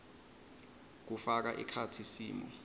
kufaka ekhatsi simo